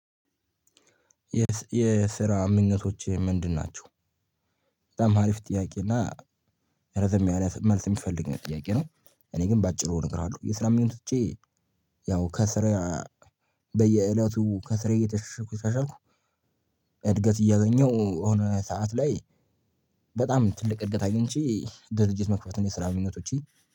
የስራ ምኞቶችህ ምንድን ናቸው? በጣም አሪፍ ጥያቄ እና ረዘም ያለ መልስ የሚፈልግ ጥያቄ ነው። እኔ ግን በአጭሩ እነግራሃለሁ የስራምኞቶቼ። ያው ከስራ በየእለቱ ከስር እየተሻሻልኩ እየተሻሻልኩ እድገት እያገኘሁ የሆነ ሰዓት ላይ በጣም ትልቅ እድገት አግኝቼ ድርጅት መክፈት ነው። የስራ ምኞቶቼ